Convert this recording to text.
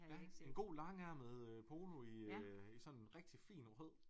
Ja en god langærmet øh polo i øh i sådan rigtig fin rød